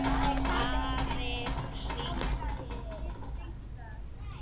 Afi hringir